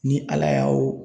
Ni Ala y'a o